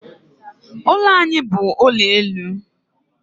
Ụlọ anyị bu ụlọ elu